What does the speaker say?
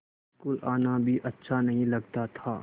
school आना भी अच्छा नहीं लगता था